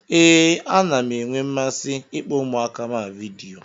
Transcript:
Ee, ana m enwe mmasị ịkpọ ụmụaka m a vidiyo.